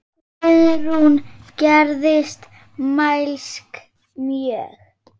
Guðrún gerðist mælsk mjög.